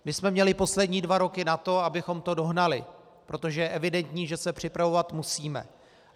My jsme měli poslední dva roky na to, abychom to dohnali, protože je evidentní, že se připravovat musíme.